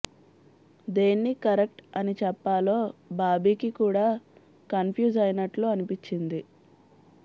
దేన్ని కరెక్ట్ అని చెప్పాలో బాబీకి కూడా కన్ఫ్యూజ్ అయినట్లు అనిపించింది